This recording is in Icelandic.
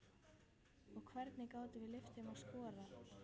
Og hvernig gátum við leyft þeim að skora?